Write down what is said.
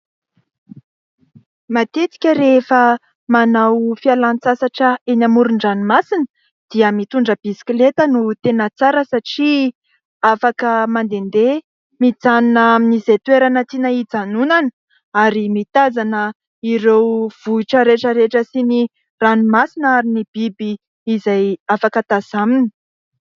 Matetika rehefa manao fialan-tsasatra eny amoron-dranomasina dia mitondra bisikileta no tena tsara satria afaka mandehandeha, mijanona amin'izay toerana tiana hijanonana ary mitazana ireo vohitra rehetra rehetra sy ny ranomasina ary ny biby izay afaka tazanina.